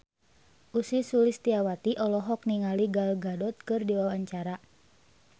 Ussy Sulistyawati olohok ningali Gal Gadot keur diwawancara